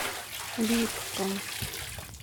липкам